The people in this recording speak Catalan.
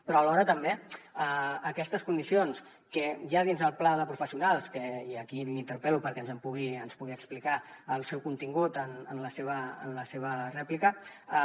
però alhora també aquestes condicions que hi ha dins el pla de professionals i aquí l’interpel·lo perquè ens pugui explicar el seu contingut en la seva rèplica